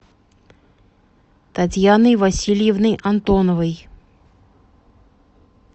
татьяны васильевны антоновой